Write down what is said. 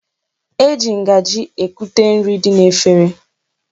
Eji ngaji ekute nri dị n'efere